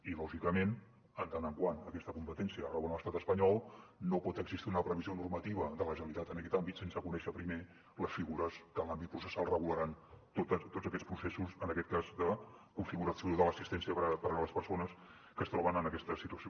i lògicament en tant que aquesta competència rau en l’estat espanyol no pot existir una previsió normativa de la generalitat en aquest àmbit sense conèixer primer les figures que en l’àmbit processal regularan tots aquests processos en aquest cas de configuració de l’assistència per a les persones que es troben en aquesta situació